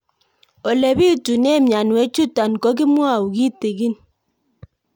Ole pitune mionwek chutok ko kimwau kitig'ín